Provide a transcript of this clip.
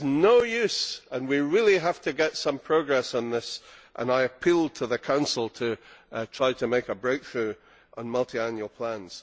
This is no use. We really have to make some progress on this and I appeal to the Council to try to make a breakthrough on multiannual plans.